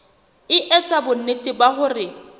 e etsa bonnete ba hore